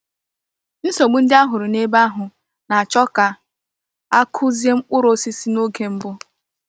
Nsogbu ndị a hụrụ n’ebe ahụ na-achọ ka a kụzie mkpụrụ osisi n’oge mbụ.